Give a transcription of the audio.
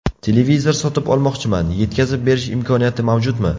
Televizor sotib olmoqchiman, yetkazib berish imkoniyati mavjudmi?